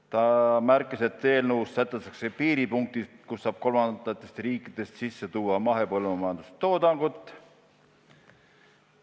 Ta märkis, et eelnõus sätestatakse piiripunktid, kus saab kolmandatest riikidest sisse tuua mahepõllumajanduse toodangut.